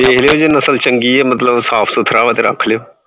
ਦੇਖ ਲਇਓ ਜੇ ਨਸ਼ਲ ਚੰਗੀ ਹੈ ਮਤਲਬ ਸਾਫ਼ ਸੁੁਥਰਾ ਵਾ ਤੇ ਰੱਖ ਲਇਓ।